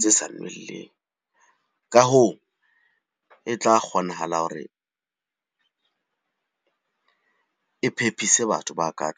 tse sa nweleng. Ka hoo, e tla kgonahala hore e phephise batho ba ka .